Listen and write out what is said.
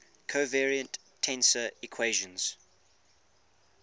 covariant tensor equations